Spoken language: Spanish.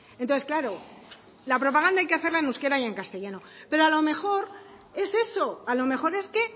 entonces claro la propaganda hay que hacerla en euskera y en castellano pero a lo mejor es eso a lo mejor es que